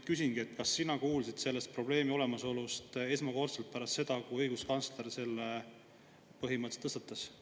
Ma küsingi: kas sina kuulsid selle probleemi olemasolust esmakordselt pärast seda, kui õiguskantsler selle põhimõtteliselt tõstatas?